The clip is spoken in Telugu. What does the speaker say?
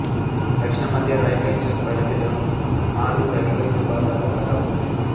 దక్షిణ మధ్య రైల్వే జోన్ పరిధిలో ఆఱు రైల్వే విభాగములు కలవు